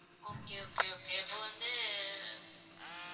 okay, okay, okay அப்ப வந்து